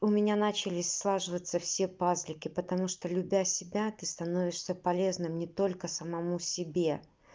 у меня начались слаживаться все пазлики потому что любя себя ты становишься полезным не только самому себе